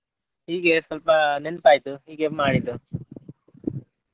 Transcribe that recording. ಹೀಗೆ ಸ್ವಲ್ಪ ನೆನ್ಪ್ ಆಯ್ತು ಹೀಗೆ ಮಾಡಿದ್ದೂ.